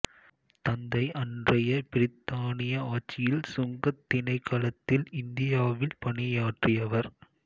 தந்தை அன்றைய பிரித்தானிய ஆட்சியில் சுங்கத் திணைக்களத்தில் இந்தியாவில் பணியாற்றியவர்